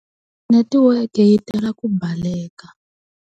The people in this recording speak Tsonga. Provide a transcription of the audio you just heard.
Netiweke yi tala ku baleka.